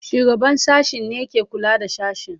Shugaban sashen ne ke kula da sashen.